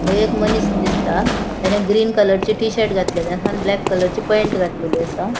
थय एक मनिस दिसता तेने ग्रीन कलरचे टी शर्ट घातलेले आहा आणि ब्लैक कलरचे पैन्ट घातलेले असा.